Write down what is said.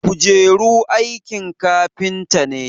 kujeru aikin kafinta ne